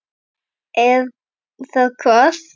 Er það hvað.?